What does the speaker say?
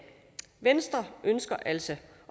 venstre ønsker altså